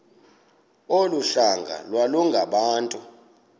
olu hlanga iwalungabantu